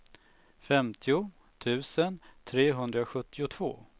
femtio tusen trehundrasjuttiotvå